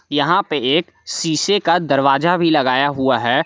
यहां पे एक शीशे का दरवाजा भी लगाया हुआ है।